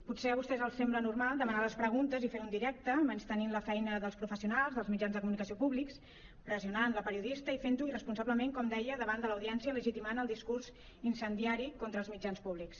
potser a vostès els sembla normal demanar les preguntes i fer ho en directe menystenint la feina dels professionals dels mitjans de comunicació públics pressionant la periodista i fent ho irresponsablement com deia davant de l’audiència legitimant el discurs incendiari contra els mitjans públics